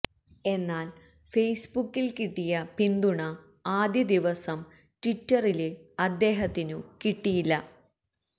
എന്നാല് ഫെയ്സ്ബുക്കില് കിട്ടിയ പിന്തുണ ആദ്യ ദിവസം ട്വിറ്ററില് അദ്ദേഹത്തിനു കിട്ടിയില്ല